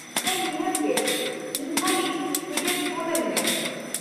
-ᱦᱮᱸ ᱱᱤᱦᱟᱹᱛ ᱜᱮ ! ᱤᱧ ᱠᱷᱟᱞᱤ ᱢᱤᱫᱴᱟᱝ ᱯᱷᱚᱱᱟᱹᱧ ᱢᱮ ᱾